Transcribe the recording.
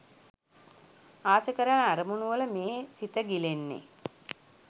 ආස කරන අරමුණුවල මේ සිත ගිලෙන්නෙ